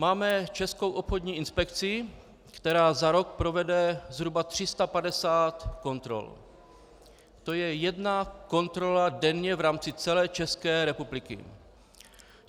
Máme Českou obchodní inspekci, která za rok provede zhruba 350 kontrol, to je jedna kontrola denně v rámci celé České republiky.